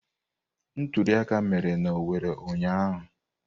Ntuli aka mere n'Owerri ụnyahụ.